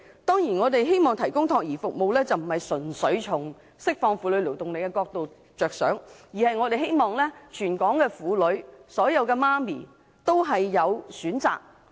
當然，我們希望提供託兒服務，並非純粹着眼於釋放婦女勞動力，而是希望全港婦女和所有母親均有選擇。